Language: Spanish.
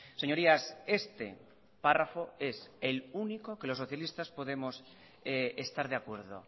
señorías este párrafo es el único que los socialistas podemos estar de acuerdo